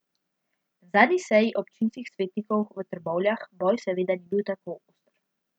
Na zadnji seji občinskih svetnikov v Trbovljah boj seveda ni bil tako oster.